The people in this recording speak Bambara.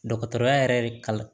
Dɔgɔtɔrɔya yɛrɛ de kama